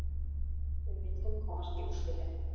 Við vildum komast í úrslitin.